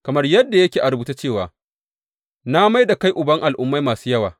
Kamar yadda yake a rubuce cewa, Na mai da kai uban al’ummai masu yawa.